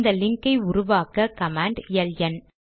இந்த லிங்க் ஐ உருவாக்க கமாண்ட் எல்என்